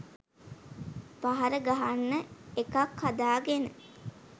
පහර ගහන්න එකක් හදාගෙන